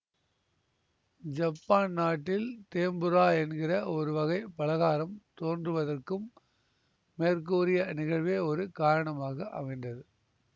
Japan நாட்டில் tempura என்கிற ஒரு வகை பலகாரம் தோன்றுவதற்கும் மேற்கூறிய நிகழ்வே ஒரு காரணமாக அமைந்தது